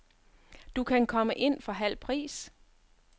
Du kan komme ind for halv pris.